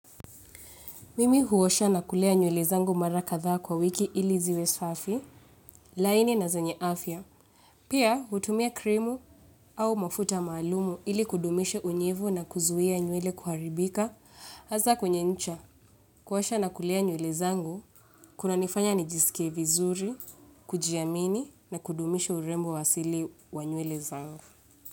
Mimi huosha na kulea nywele zangu mara kadhaa kwa wiki ili ziwe safi. Laini na zenye afya. Pia hutumia krimu au mafuta maalumu ili kudumisha unyevu na kuzuia nywele kuharibika. Hasa kwenye ncha, kuosha na kulea nywele zangu, kuna nifanya nijisikie vizuri, kujiamini na kudumisha urembo wasili wa nywele zangu.